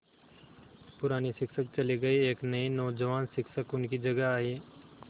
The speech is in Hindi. पुराने शिक्षक चले गये एक नये नौजवान शिक्षक उनकी जगह आये